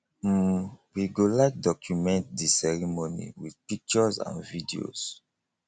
um we go like document di ceremony with pictures and videos